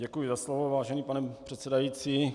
Děkuji za slovo vážený pane předsedající.